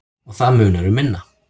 Og það munar um minna.